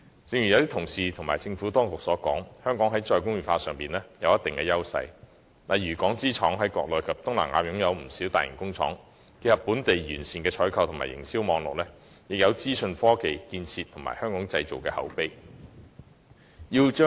正如多位同事及政府當局指出，香港在"再工業化"上有一定優勢，例如港資廠商在國內及東南亞設有不少大型工廠，可結合本地完善的採購和營銷網絡，以及資訊科技建設及"香港製造"品牌的口碑。